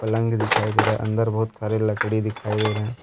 पलंग दिखाई दे रहा है अंदर बहुत सारे लकड़ी दिखाई दे रहे हैं।